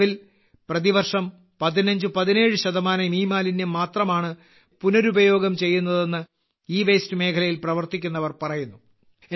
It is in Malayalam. നിലവിൽ പ്രതിവർഷം 1517 ശതമാനം ഇമാലിന്യം മാത്രമാണ് പുനരുപയോഗം ചെയ്യുന്നതെന്ന് ഇവേസ്റ്റ് മേഖലയിൽ പ്രവർത്തിക്കുന്നവർ പറയുന്നു